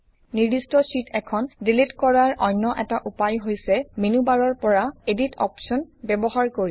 নিৰ্দিষ্ট শ্বিট এখন ডিলিট কৰাৰ অন্য এটা উপায় হৈছে মেনুবাৰৰ পৰা এডিট অপশ্বন ব্যৱহাৰ কৰি